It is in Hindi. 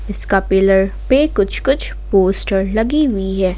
इसका पिलर पे कुछ कुछ पोस्टर लगी हुई है।